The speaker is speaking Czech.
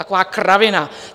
Taková kravina!